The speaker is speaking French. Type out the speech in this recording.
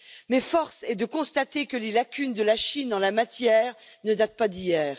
Mais force est de constater que les lacunes de la Chine en la matière ne datent pas d'hier.